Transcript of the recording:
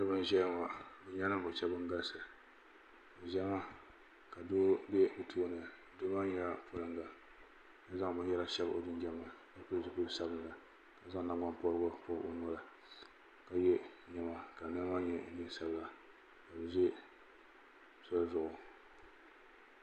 salo n ʒɛya be nyɛla nin vuɣ' shɛba ban galisi zama ka do bɛtuuni do nyɛla baŋ da ka zaŋ biyara shɛbi o jinjam ni ka pɛlizupiɛli sabilinli ka zaŋ nagbanpɔrigu pobi o noli ka yɛ nɛma ka nɛma maa nyɛ nɛnsabila ka o ʒɛ soli zʋɣ'